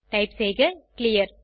type செய்க clear